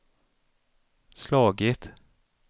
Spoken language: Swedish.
slagit